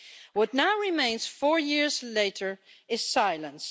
What now remains four years later is silence.